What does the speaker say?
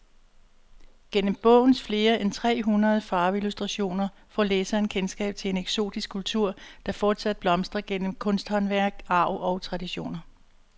Gennem bogens flere end tre hundrede farveillustrationer får læseren kendskab til en eksotisk kultur, der fortsat blomstrer gennem kunsthåndværk, arv og traditioner.